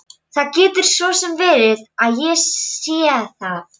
Það getur svo sem verið að ég sé það.